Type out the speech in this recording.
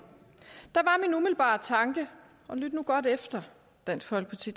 var tanke og lyt nu godt efter dansk folkeparti